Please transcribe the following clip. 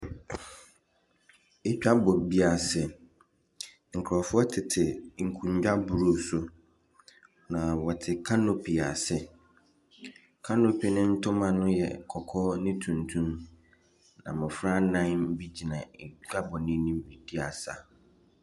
Dwabɔ bi ase, nkurɔfoɔ tete nkonnwa blue so, na wɔte canopy ase, canopy ne ntoma no yɛ kɔkɔɔ ne tuntum. Na mmɔfra nnan bi gyina dwabɔ n’anim redi asa.